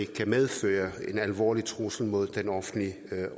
kan medføre en alvorlig trussel mod den offentlige